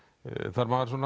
þarf maður